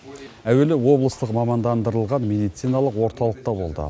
әуелі облыстық мамандандырылған медициналық орталықта болды